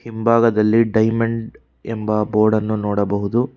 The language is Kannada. ಹಿಂಭಾಗದಲ್ಲಿ ಡೈಮಂಡ್ ಎಂಬ ಬೋರ್ಡ್ ಅನ್ನು ನೋಡಬಹುದು.